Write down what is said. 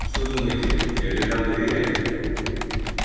вы что думаете я передам доверие